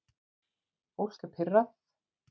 Fólk er pirrað